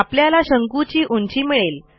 आपल्याला शंकूची उंची मिळेल